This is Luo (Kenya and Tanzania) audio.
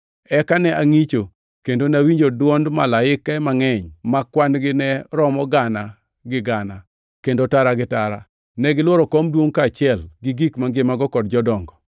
Eka ne angʼicho, kendo nawinjo dwond malaike mangʼeny ma kwan-gi ne romo gana gi gana kendo tara gi tara. Negilworo kom duongʼ kaachiel gi gik mangimago kod Jodongo.